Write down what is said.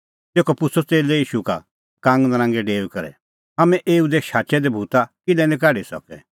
तेखअ पुछ़अ च़ेल्लै ईशू का कांगनरांगै डेऊई करै हाम्हैं एऊ दी शाचै दै भूता किल्है निं काढी सकै